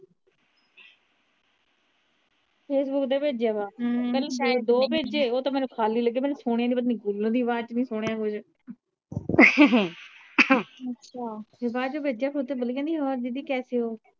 Facebook ਤੇ ਭੇਜਿਆ ਵਾ ਪਹਿਲੇ ਦੋ ਭੇਜੇ ਉਹ ਤਾ ਮੈਨੂੰ ਖਾਲੀ ਲੱਗੇ ਮੈਨੂੰ ਸੁਣਿਆ ਏ ਨਹੀ ਪਤਾ ਨਹੀਂ cooler ਦੀ ਆਵਾਜ਼ ਚ ਨਹੀਂ ਸੁਣਿਆ ਬਾਅਦ ਚ ਭੇਜਿਆ ਫਿਰ ਓਦੇ ਚ ਕਹਿੰਦੀ ਹੋਰ ਦੀਦੀ ਕੈਸੇ ਹੋ